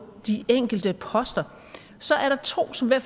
de enkelte poster er der to som jeg